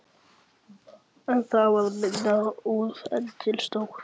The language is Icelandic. En það varð minna úr en til stóð.